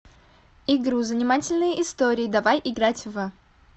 игру занимательные истории давай играть в